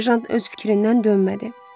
Serjant öz fikrindən dönmədi.